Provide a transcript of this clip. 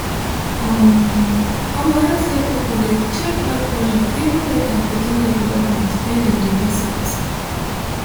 um omo healthcare people de check blood pressure even weight and pikin development when dem de visit